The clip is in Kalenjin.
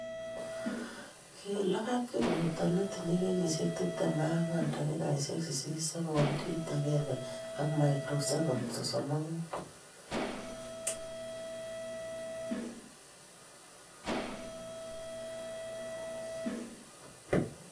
Kilabate Kipruto ne tinyei kenyisiek tiptem ak ang'wan dakikaishek sisit, sekondit agenge and microseconds sosom ak muut